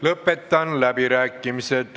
Lõpetan läbirääkimised.